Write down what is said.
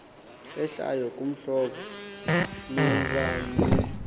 ehlayo kuhlobo lobalulo